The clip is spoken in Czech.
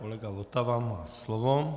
Kolega Votava má slovo.